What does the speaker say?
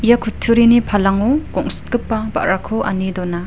ia kutturini palango gongsitgipa ba·rako ane dona.